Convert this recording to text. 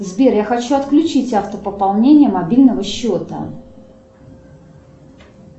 сбер я хочу отключить автопополнение мобильного счета